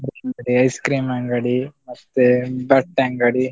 ಮತ್ತೆ ice cream ಅಂಗಡಿ, ಮತ್ತೆ ಬಟ್ಟೆ ಅಂಗಡಿ.